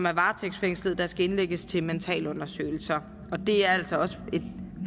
er varetægtsfængslet og som skal indlægges til mentalundersøgelser det er altså også et